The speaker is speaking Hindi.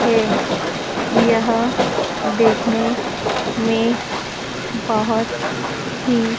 थे यह दिखने मे बहोत ही--